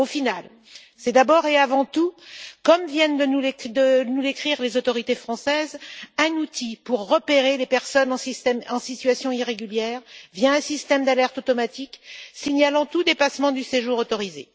Au final, c'est d'abord et avant tout, comme viennent de nous l'écrire les autorités françaises, un outil pour repérer les personnes en situation irrégulière, via un système d'alerte automatique signalant tout dépassement du séjour autorisé.